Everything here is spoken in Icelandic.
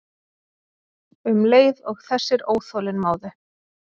Um leið og þessir óþolinmóðu